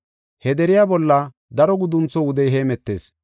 He deriya bolla daro guduntho wudey hemetees.